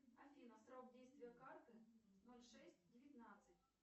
афина срок действия карты ноль шесть девятнадцать